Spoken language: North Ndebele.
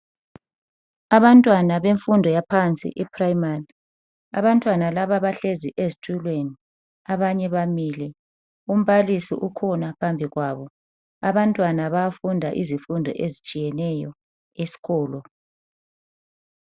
Abantwana bemfundo yaphansi iphrayimari. Abantwana laba bahlezi ezitulweni abanye bamile, umbalisi ukhona phambi kwabo abantwana bayafunda izifundo ezitshiyeneyo esikolo.